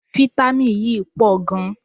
Fítámìn yíí pọ̀ gan.